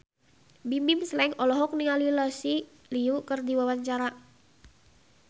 Bimbim Slank olohok ningali Lucy Liu keur diwawancara